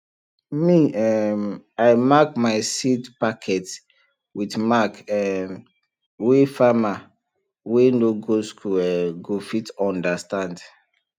me um i mark my seed packet with mark um wey farmer wey no go school um go fit understand